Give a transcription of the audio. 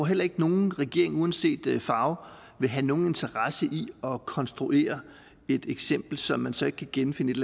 heller ikke at nogen regering uanset farve vil have nogen interesse i at konstruere et eksempel som man så ikke kan genfinde et